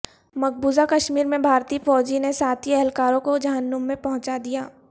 مقبوضہ کشمیر میں بھارتی فوجی نے ساتھی اہلکاروں کو جہنم میں پہنچا دیا